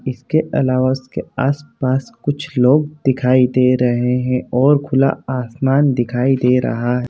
इसके अलावा इसके आस-पास कुछ लोग दिखाई दे रहे है और खुला आसमान दिखाई दे रहा है।